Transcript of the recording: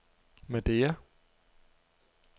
Madeira